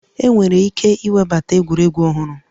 Enwere ike iwebata egwuregwu ọhụrụ